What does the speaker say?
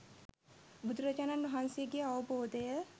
බුදුරජාණන් වහන්සේගේ අවබෝධය